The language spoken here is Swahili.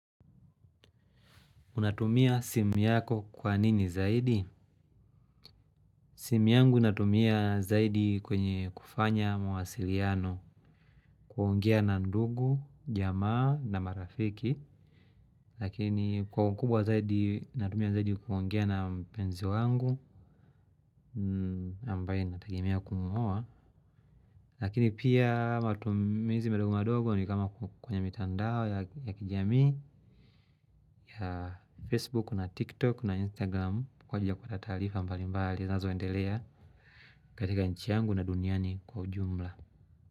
Unatumia simu yako kwa nini zaidi? Simu yangu natumia zaidi kwenye kufanya mawasiliano kuongia na ndugu, jamaa na marafiki. Lakini kwa kubwa zaidi natumia zaidi kuongea na mpenzi wangu ambaye nategemea kumuoa. Lakini pia matumizi madogo madogo ni kama kwenye mitandao ya kijamii ya Facebook na TikTok na Instagram kwa ju ya kupata taarifa mbalimbali zinazoendelea. Katika nchi yangu na duniani kwa ujumla.